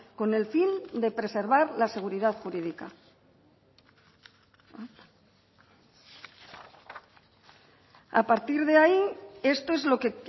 con el fin de preservar la seguridad jurídica a partir de ahí esto es lo que